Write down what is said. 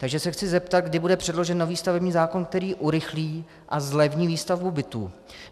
Takže se chci zeptat, kdy bude předložen nový stavební zákon, který urychlí a zlevní výstavbu bytů.